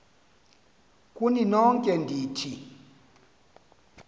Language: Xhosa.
kuni nonke ndithi